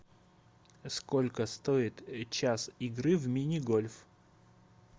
сколько стоит час игры в мини гольф